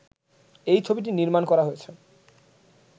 এই ছবিটি নির্মাণ করা হয়েছে